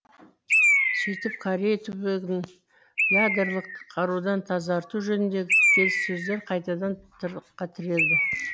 сөйтіп корей түбегін ядырлық қарудан тазарту жөніндегі келіссөздер қайтадан тығырыққа тірелді